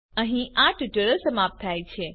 અહીં આ ટ્યુટોરીયલ સમાપ્ત થાય છે